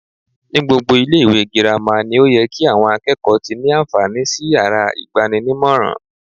Ní gbogbo ilé ìwé girama ni ó ye ki àwon akékòó ti ní ànfàní sí yàrá ìgbaninímòràn